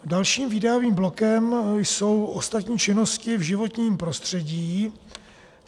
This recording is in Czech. Dalším výdajovým blokem jsou ostatní činnosti v životním prostředí.